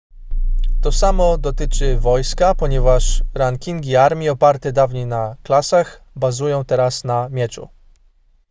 to samo dotyczy wojska ponieważ rankingi armii oparte dawniej na klasach bazują teraz na mieczu